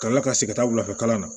Ka kila ka segin ka taa wula fɛ kalan na